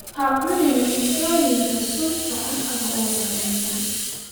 Ha cunin cuntooyinka sunta ah ama wasakhaysan.